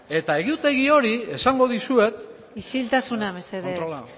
eta egutegi hori esango dizuet isiltasuna mesedez controla a